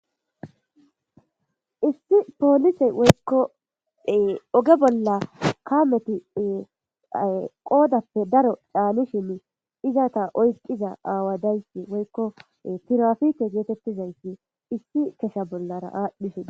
Issi polise woyiko oge bolla kameti qodappe daro ca,ishin izata oyiqida awa woyiko tirafike getetizayiti issi ichasha bollara adhishe besees